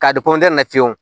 K'a di fiyewu